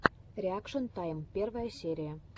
реакшен тайм первая серия